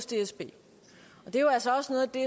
dsb det er jo altså også noget af det